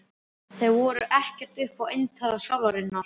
Þeir voru ekkert upp á eintal sálarinnar.